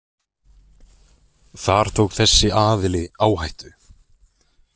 Þar tók þessi aðili áhættu.